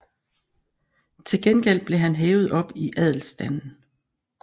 Til gengæld blev han hævet op i adelsstanden